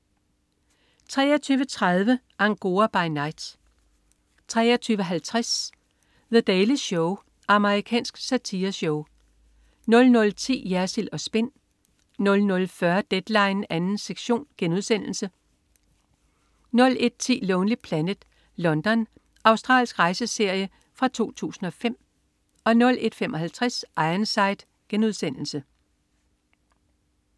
23.30 Angora by Night 23.50 The Daily Show. Amerikansk satireshow 00.10 Jersild & Spin 00.40 Deadline 2. sektion* 01.10 Lonely Planet: London. Australsk rejseserie fra 2005 01.55 Ironside*